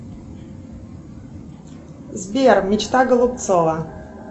сбер мечта голубцова